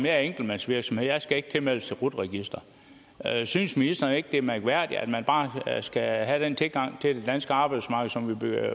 er enkeltmandsvirksomhed og jeg skal ikke tilmeldes rut registeret synes ministeren ikke det er mærkværdigt at man bare skal have den tilgang til det danske arbejdsmarked som